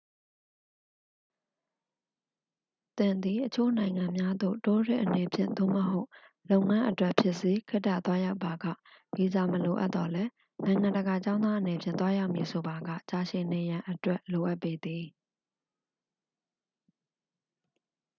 သင်သည် အချို့နိုင်ငံများသို့ တိုးရစ်အနေဖြင့် သို့မဟုတ် လုပ်ငန်းအတွက် ဖြစ်စေ ခေတ္တသွားရောက်ပါက ဗီဇာမလိုအပ်သော်လည်း နိုင်ငံတကာကျောင်းသားအနေဖြင့် သွားရောက်မည်ဆိုပါက ကြာရှည်နေရန်အတွက် လိုအပ်ပေသည်